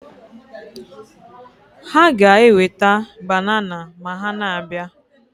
Ha ga-eweta banana ma ha na-abịa